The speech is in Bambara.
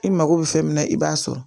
I mago bɛ fɛn min na i b'a sɔrɔ